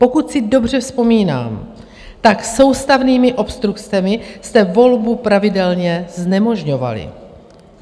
Pokud si dobře vzpomínám, tak soustavnými obstrukcemi jste volbu pravidelně znemožňovali.